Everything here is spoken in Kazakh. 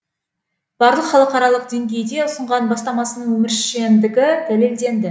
барлық халықаралық деңгейде ұсынған бастамасының өміршеңдігі дәлелденді